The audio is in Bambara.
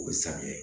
O bɛ san kɛ